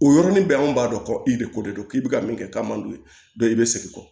O yɔrɔnin bɛɛ anw b'a dɔn ko i de ko de don k'i bɛ ka min kɛ k'a man d'u ye i bɛ segin kɔ